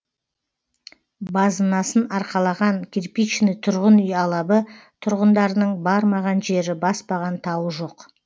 базынасын арқалаған кирпичный тұрғын үй алабы тұрғындарының бармаған жері баспаған тауы жоқ